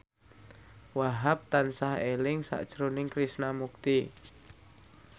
Wahhab tansah eling sakjroning Krishna Mukti